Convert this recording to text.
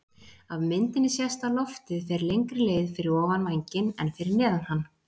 Af myndinni sést að loftið fer lengri leið fyrir ofan vænginn en fyrir neðan hann.